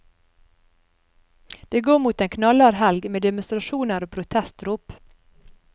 Det går mot en knallhard helg med demonstrasjoner og protestrop.